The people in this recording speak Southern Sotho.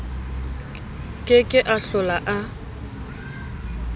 ke ke a hlola a